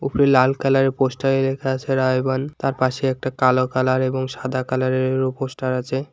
উপরে লাল কালারের পোস্টারে লেখা আছে রায়বান তার পাশে একটা কালো কালার এবং সাদা কালারের পোস্টার আছে।